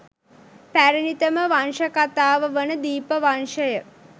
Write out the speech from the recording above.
පැරැණිතම වංශකතාව වන දීපවංශය